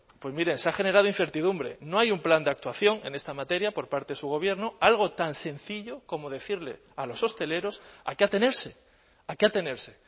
pues mire se ha generado incertidumbre no hay un plan de actuación en esta materia por parte de su gobierno algo tan sencillo como decirle a los hosteleros a qué atenerse a qué atenerse